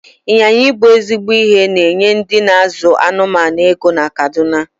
Ị́nyinya ibu ezigbo ihe na-enye ndị n'azụ anụmanụ ego na kaduna